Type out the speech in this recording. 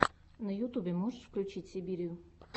на ютубе можешь включить сибирию